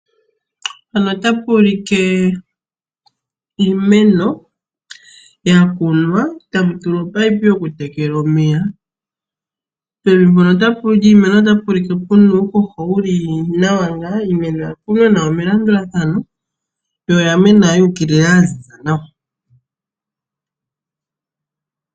Iimeno yakunwa mwatulwa ominino dhokutekela omeya. Pevi lyiimeno opwa tulwa uuhoho wuli nawa niimeno oya kunwa melandulathano yo oyanena yuukilila yaziza nawa.